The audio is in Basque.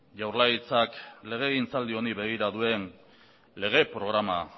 jaurlaritzak legegintzaldi honi begira duen lege programa